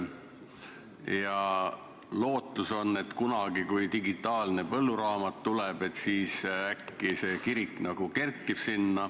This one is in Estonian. Ja lootus on, et kunagi, kui digitaalne põlluraamat tuleb, siis äkki see kirik siiski sinna kerkib.